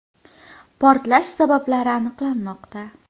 Portlash sabablari aniqlanmoqda.